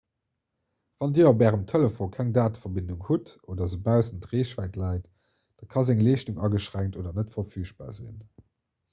wann dir op ärem telefon keng dateverbindung hutt oder se baussent reechwäit läit da ka seng leeschtung ageschränkt oder net verfügbar sinn